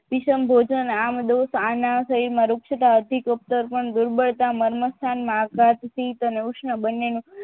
અતીસમ ભોજન આમદોષ આના સહીમાં રુક્ષતા અતીકુફ્તર્પણ દુર્બળતા મર્મ સ્થાન મા આઘાત થી ઉષ્ણ બનેનું